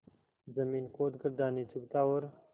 जमीन खोद कर दाने चुगता और